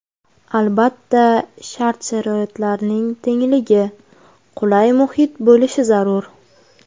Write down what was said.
Albatta, shart-sharoitlarning tengligi, qulay muhit bo‘lishi zarur.